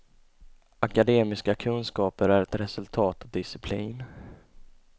Akademiska kunskaper är ett resultat av disciplin.